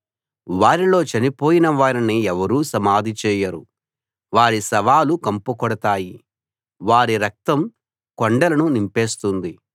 వారిలో చనిపోయిన వారిని ఎవరూ సమాధి చేయరు వారి శవాలు కంపుకొడతాయి వారి రక్తం కొండలను నింపేస్తుంది